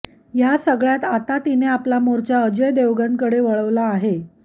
या सगळ्यात आता तिने आपला मोर्चा अजय देवगणकडे वळवला आहे